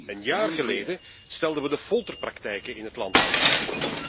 Een jaar geleden stelden wij de folterpraktijken in het land aan de kaak.